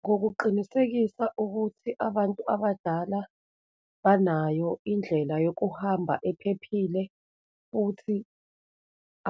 Ngokuqinisekisa ukuthi abantu abadala banayo indlela yokuhamba ephephile, futhi